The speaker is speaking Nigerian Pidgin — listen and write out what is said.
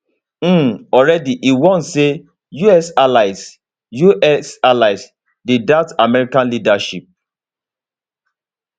um already e warn say us allies us allies dey doubt american leadership